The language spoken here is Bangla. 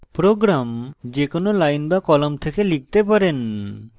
program যে কোনো line বা কলাম থেকে লিখতে পারেন